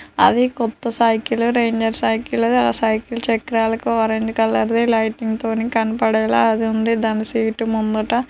అది కొత్త cycle rider cycle ఆ సైకిల్ చక్రాలు ఆరెంజ్ కలర్ లైటింగ్ స్ తోనీ కనపడేలా ఉంది. దాని సీటు ముందట